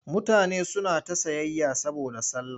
Mutane suna ta sayayya saboda sallah.